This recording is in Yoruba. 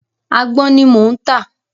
Àgbọn ni mò ń tà.